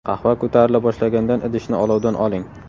Qahva ko‘tarila boshlagandan idishni olovdan oling.